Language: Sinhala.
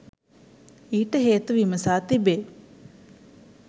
ඊට හේතු විමසා තිබේ.